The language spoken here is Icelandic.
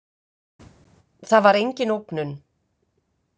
Það var engin ógnun.